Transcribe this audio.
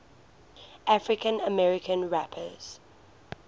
african american rappers